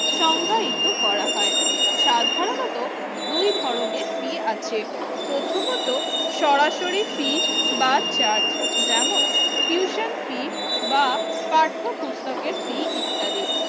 সংগায়িত করা হয়। সাধারণত দুই ধরনের ফী আছে প্রথমত সরাসরি ফী বা চার্জ যেমন টিউশন ফী বা পাঠ্য বুক পুস্তকের ফী ইত্যাদি।